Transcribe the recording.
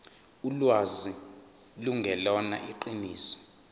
ulwazi lungelona iqiniso